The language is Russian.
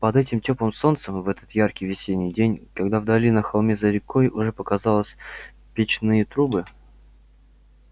под этим тёплым солнцем в этот яркий весенний день когда вдали на холме за рекой уже показались печные трубы